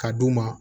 Ka d'u ma